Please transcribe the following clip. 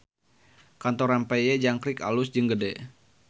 Kantor Rempeyek Jangkrik alus jeung gede